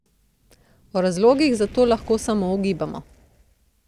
O razlogih za to lahko samo ugibamo.